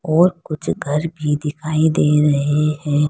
और कुछ घर भी दिखाई दे रहे हैं।